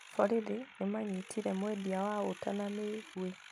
Borithi nĩ manyitire mwendia wa ũta na mĩguĩ